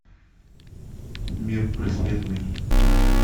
мир преследований